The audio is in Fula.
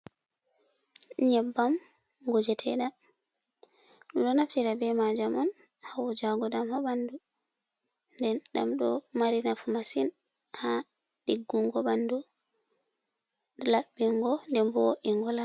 Nƴebbam ngujeteeɗam. Ɓedo naftira be majam on ha wujaago ɗam ha ɓandu. Nden ɗam ɗo mari nafu masin ha ɗiggungo ɓandu, laɓɓingo, nden bo en wala ....